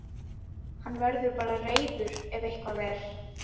Hann verður bara reiður ef eitthvað er.